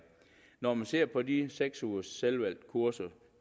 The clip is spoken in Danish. når man ser på de seks ugers selvvalgte kurser